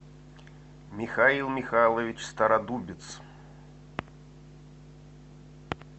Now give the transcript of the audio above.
михаил михайлович стародубец